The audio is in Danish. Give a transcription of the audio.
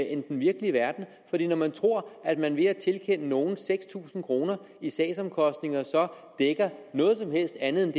end den virkelige verden når man tror at man ved at tilkende nogen seks tusind kroner i sagsomkostninger gør noget som helst andet end at